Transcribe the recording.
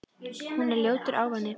Hún er ljótur ávani.